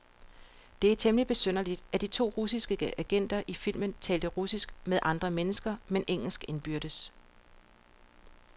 Det er temmeligt besynderligt, at de to russiske agenter i filmen taler russisk med andre mennesker, men engelsk indbyrdes.